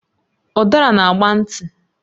Udara na agba nti